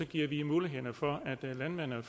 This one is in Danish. giver vi muligheden for at landmænd og